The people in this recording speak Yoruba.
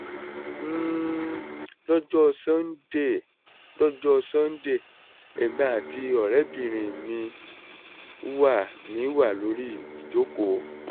um lọ́jọ́ sunday lọ́jọ́ sunday èmi àti ọ̀rẹ́bìnrin mi wà mi wà lórí ìjókòó